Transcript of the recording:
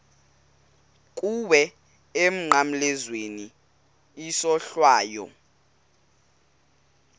kuwe emnqamlezweni isohlwayo